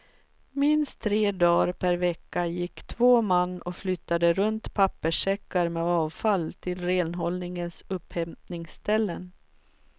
Minst tre dagar per vecka gick två man och flyttade runt papperssäckar med avfall till renhållningens upphämtningsställen.